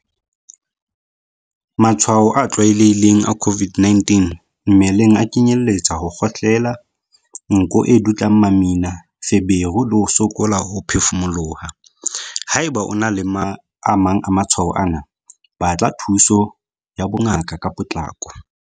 Matshwao a tlwaelehileng a COVID-19 mmeleng a kenyeletsa ho kgohlela, nko e dutlang mamina, feberu le ho sokola ho phefumoloha. Haeba o na le a mang a matshwao ana, batla thuso ya bongaka ka potlako.